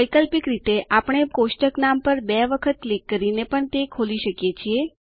વૈકલ્પિક રીતે આપણે પણ કોષ્ટક નામ પર બે વખત ક્લિક કરીને પણ તે ખોલી શકીએ છીએ